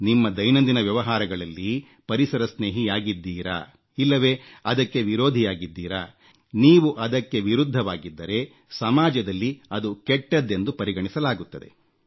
ನಿಮ್ಮ ದೈನಂದಿನ ವ್ಯವಹಾರಗಳಲ್ಲಿ ಪರಿಸರ ಸ್ನೇಹಿಯಾಗಿದ್ದೀರಾ ಇಲ್ಲವೆ ಅದಕ್ಕೆ ವಿರೋಧಿಯಾಗಿದ್ದೀರಾ ನೀವು ಅದಕ್ಕೆ ವಿರುದ್ಧವಾಗಿದ್ದರೆ ಸಮಾಜದಲ್ಲಿ ಅದು ಕೆಟ್ಟದ್ದೆಂದು ಪರಿಗಣಿಸಲಾಗುತ್ತದೆ